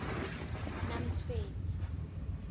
namtshweni